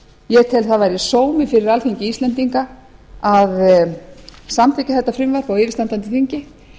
ég tel að það væri sómi fyrir alþingi íslendinga að samþykkja þetta frumvarp á yfirstandandi þingi